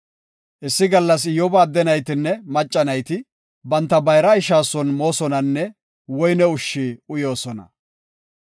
Issi gallas Iyyoba adde naytinne macca nayti banta bayra ishaa son moosonanne woyne ushshi uyoosona.